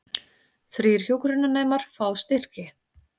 Þrír hjúkrunarnemar fá styrki